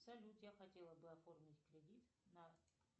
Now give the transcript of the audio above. салют я хотела бы оформить кредит на